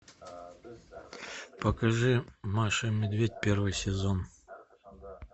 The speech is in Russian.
покажи маша и медведь первый сезон